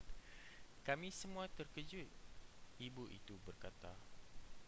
kami semua terkejut ibu itu berkata